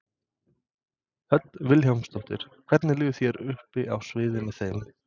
Hödd Vilhjálmsdóttir: Hvernig líður þér uppi á sviði með þeim?